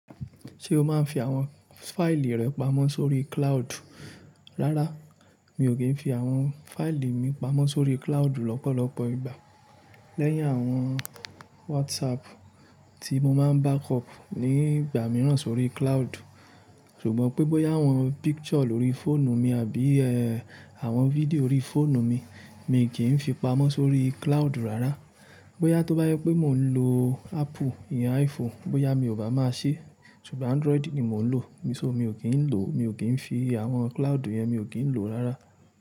Ṣé o máa ń fi àwọn fáìlì rẹ pamọ́ sórí cloud? Rárá, mi ò kí ń fi àwọn fáìlì mi pamọ́ sórí cloud lọ́pọ̀lọpọ̀ ìgbà. Lẹ́yìn àwọn WhatsApp tí mo máa ń backup nígbà míràn sórí cloud. Ṣùgbọ́n pé bóyá àwọn picture lórí fóònù mi àbí ẹ́ àwọn fídíò lórí fóònù mi, miì kí ń fi pamọ́ sórí cloud rárá. Bóyá tó bá jẹ́ pé mó ń lo apple ìyẹn iphone, bóyá mi bá ma ṣe ṣùgbọ́n Android ni mò ń lò. Mi ò kí ń lò, mi ò kí ń fi àwọn cloud yẹn, mi ò kí ń lò rárá.